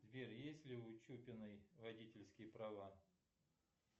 сбер есть ли у чупиной водительские права